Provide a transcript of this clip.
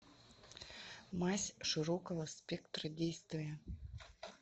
мазь широкого спектра действия